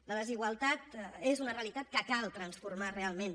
la desigualtat és una realitat que cal transformar realment